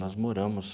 Nós moramos...